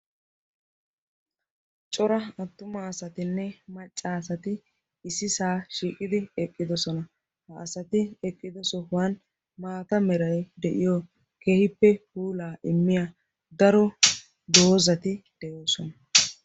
Cora attuma asatinne maccaasati issi saa shiiqidi eqqidosona ha asati eqqido sohuwan maata merai de'iyo kehippe puulaa immiya daro doozati de'oosona